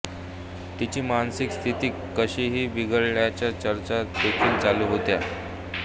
ह्यादरम्यान तिची मानसिक स्थिती काहीशी बिघडल्याच्या चर्चा देखील चालू होत्या